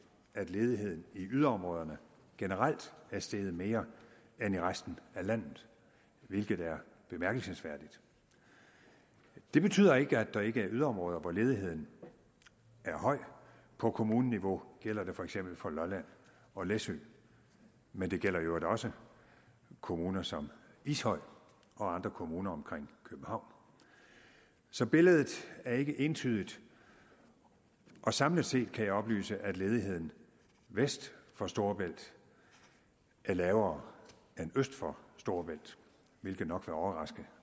at ledigheden i yderområderne generelt er steget mere end i resten af landet hvilket er bemærkelsesværdigt det betyder ikke at der ikke er yderområder hvor ledigheden er høj på kommuneniveau gælder det for eksempel for lolland og læsø men det gælder i øvrigt også kommuner som ishøj og andre kommuner omkring københavn så billedet er ikke entydigt samlet set kan jeg oplyse at ledigheden vest for storebælt er lavere end øst for storebælt hvilket nok vil overraske